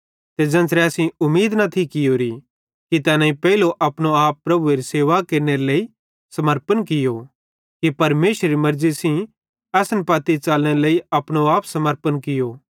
ते ज़ेन्च़रे असेईं उमीद न थी कियोरी कि तैनेईं पेइलो अपनो आप प्रभुएरी सेवा केरनेरे लेइ समर्पण कियो फिरी परमेशरेरी मेर्ज़ी सेइं असन पत्ती च़लनेरे लेइ अपनो आप समर्पण कियो